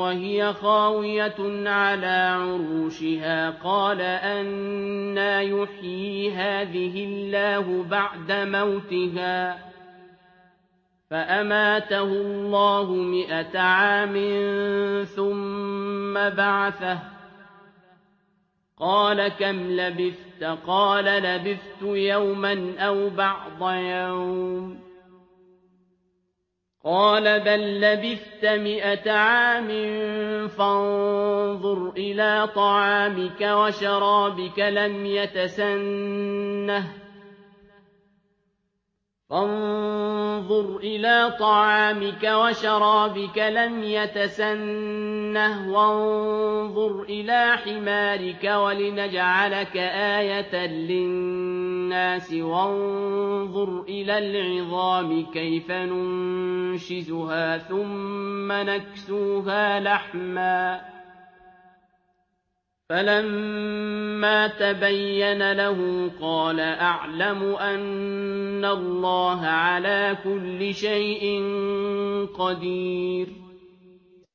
وَهِيَ خَاوِيَةٌ عَلَىٰ عُرُوشِهَا قَالَ أَنَّىٰ يُحْيِي هَٰذِهِ اللَّهُ بَعْدَ مَوْتِهَا ۖ فَأَمَاتَهُ اللَّهُ مِائَةَ عَامٍ ثُمَّ بَعَثَهُ ۖ قَالَ كَمْ لَبِثْتَ ۖ قَالَ لَبِثْتُ يَوْمًا أَوْ بَعْضَ يَوْمٍ ۖ قَالَ بَل لَّبِثْتَ مِائَةَ عَامٍ فَانظُرْ إِلَىٰ طَعَامِكَ وَشَرَابِكَ لَمْ يَتَسَنَّهْ ۖ وَانظُرْ إِلَىٰ حِمَارِكَ وَلِنَجْعَلَكَ آيَةً لِّلنَّاسِ ۖ وَانظُرْ إِلَى الْعِظَامِ كَيْفَ نُنشِزُهَا ثُمَّ نَكْسُوهَا لَحْمًا ۚ فَلَمَّا تَبَيَّنَ لَهُ قَالَ أَعْلَمُ أَنَّ اللَّهَ عَلَىٰ كُلِّ شَيْءٍ قَدِيرٌ